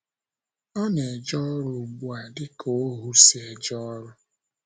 Ọ na - eje ọrụ ugbu a, dị ka ohú si eje ọrụ.